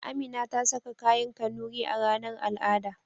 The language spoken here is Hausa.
Amina ta saka kayan Kanuri a ranar al'ada.